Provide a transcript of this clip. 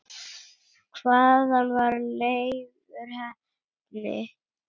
Hvaðan var Leifur heppni?